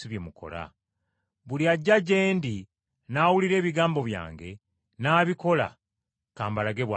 Buli ajja gye ndi n’awulira ebigambo byange, n’abikola, ka mbalage bw’afaanana.